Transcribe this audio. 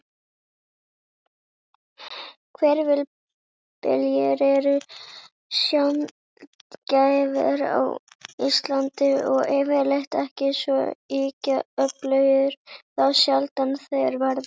Hvirfilbyljir eru sjaldgæfir á Íslandi, og yfirleitt ekki svo ýkja öflugir þá sjaldan þeir verða.